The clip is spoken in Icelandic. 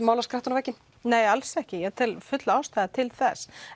mála skrattann á vegginn nei alls ekki ég tel fulla ástæðu til þess